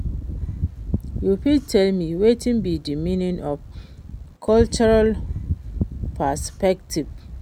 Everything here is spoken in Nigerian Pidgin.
you fit tell me wetin be di meaning of cultural perspectives?